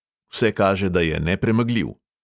Vse kaže, da je nepremagljiv.